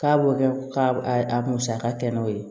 K'a b'o kɛ ka a musaka kɛnɛ o ye